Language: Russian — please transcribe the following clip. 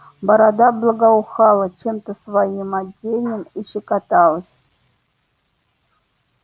борода благоухала чем-то своим отдельным и щекоталась